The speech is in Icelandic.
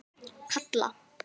Kalla